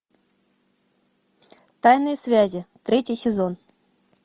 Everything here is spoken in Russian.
тайные связи третий сезон